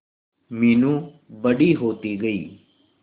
मीनू बड़ी होती गई